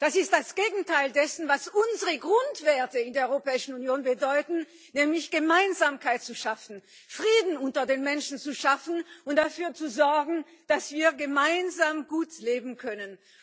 Das ist das Gegenteil dessen, was unsere Grundwerte in der Europäischen Union bedeuten, nämlich Gemeinsamkeit zu schaffen, Frieden unter den Menschen zu schaffen und dafür zu sorgen, dass wir gemeinsam gut leben können.